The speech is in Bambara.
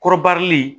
Kɔrɔbarili